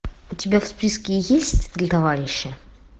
у тебя в списке есть три товарища